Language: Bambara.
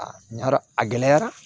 A ɲa dɔn a gɛlɛyara